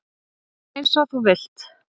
Eins og þú vilt.